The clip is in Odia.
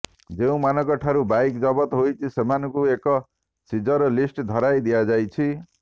ଯେଉଁମାନଙ୍କଠାରୁ ବାଇକ୍ ଜବତ ହୋଇଛି ସେମାନଙ୍କୁ ଏକ ସିଜର ଲିଷ୍ଟ ଧରାଇ ଦିଆଯାଇଛି